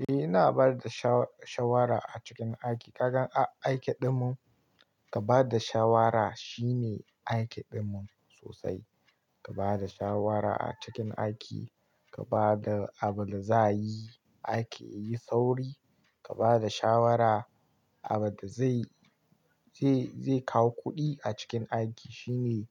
Eh, ina bayar da sha-shawara a cikin aiki. Kagan aiki ɗinmu, ka ba da shawara shine aiki ɗinmu sosai. Ka ba da shawara a cikin aiki, ka ba da abin da za yi aiki yayi sauri, ka bada shawara abin da zai, zai, zai kawo kuɗi a cikin aiki shine,